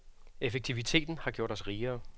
Effektiviteten har gjort os rigere.